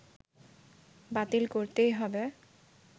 বাতিল করতেই হবে